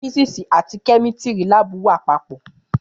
Fìsísì àtí Kẹmítìrí làbú wà pọ.